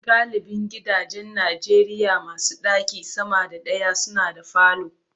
Galibin gidajen Najeriya masu ɗaki sama da daya suna da falo.